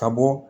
Ka bɔ